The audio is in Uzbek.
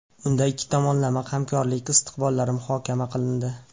Unda ikki tomonlama hamkorlik istiqbollari muhokama qilindi.